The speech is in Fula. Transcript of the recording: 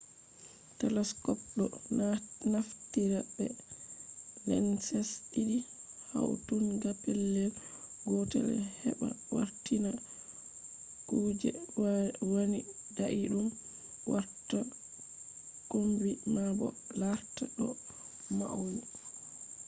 telescopes ɗo naftira be lenses ɗiɗi hautinga pellel gotel heɓa wartina kuje wani daiɗum warta kombi ma bo larta ɗo mauni